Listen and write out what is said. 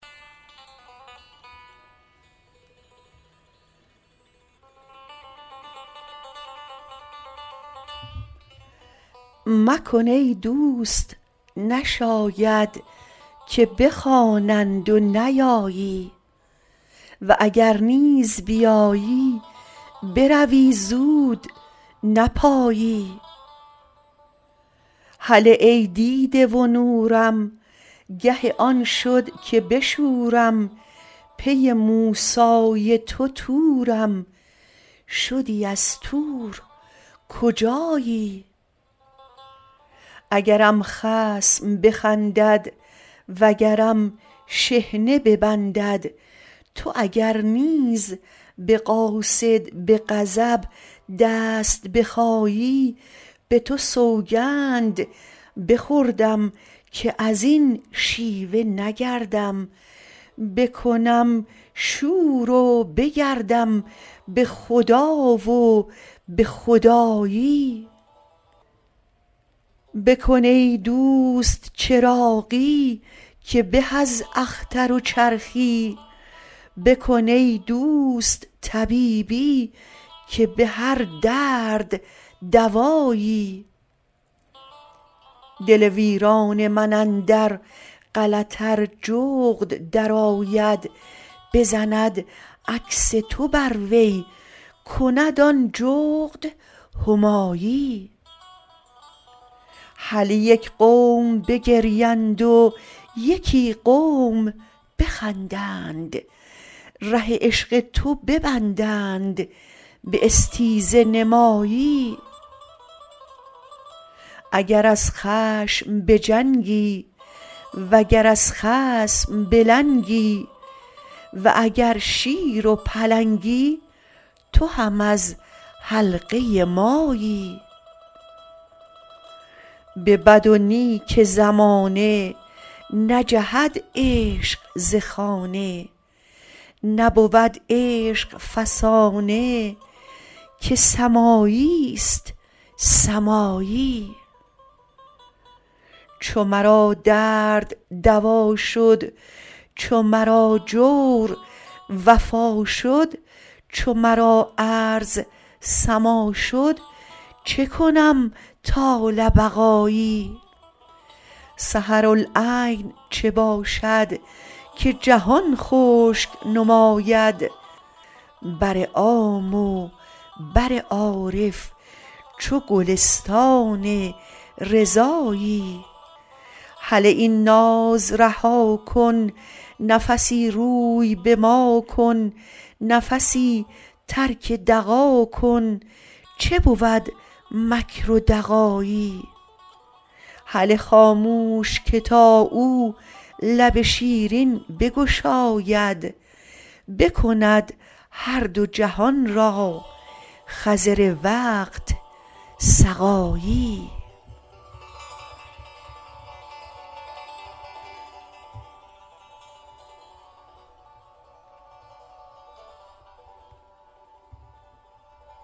مکن ای دوست نشاید که بخوانند و نیایی و اگر نیز بیایی بروی زود نپایی هله ای دیده و نورم گه آن شد که بشورم پی موسی تو طورم شدی از طور کجایی اگرم خصم بخندد و گرم شحنه ببندد تو اگر نیز به قاصد به غضب دست بخایی به تو سوگند بخوردم که از این شیوه نگردم بکنم شور و بگردم به خدا و به خدایی بکن ای دوست چراغی که به از اختر و چرخی بکن ای دوست طبیبی که به هر درد دوایی دل ویران من اندر غلط ار جغد درآید بزند عکس تو بر وی کند آن جغد همایی هله یک قوم بگریند و یکی قوم بخندند ره عشق تو ببندند به استیزه نمایی اگر از خشم بجنگی وگر از خصم بلنگی و اگر شیر و پلنگی تو هم از حلقه مایی به بد و نیک زمانه نجهد عشق ز خانه نبود عشق فسانه که سمایی است سمایی چو مرا درد دوا شد چو مرا جور وفا شد چو مرا ارض سما شد چه کنم طال بقایی سحرالعین چه باشد که جهان خشک نماید بر عام و بر عارف چو گلستان رضایی هله این ناز رها کن نفسی روی به ما کن نفسی ترک دغا کن چه بود مکر و دغایی هله خاموش که تا او لب شیرین بگشاید بکند هر دو جهان را خضر وقت سقایی